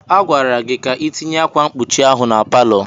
A gwara gị ka itinye ákwà mkpuchi ahụ na palọ!